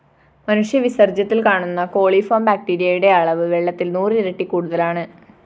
മനുഷ്യവിസര്‍ജ്യത്തില്‍ കാണുന്ന കോളിഫോം ബാക്ടീരയുടെ അളവ് വെള്ളത്തില്‍ നൂറിരട്ടി കൂടുതലാണ്